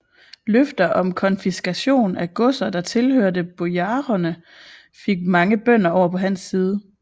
Løfter om konfiskation af godser der tilhørte bojarerne fik mange bønder over på hans side